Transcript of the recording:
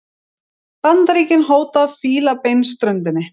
Bandaríkin hóta Fílabeinsströndinni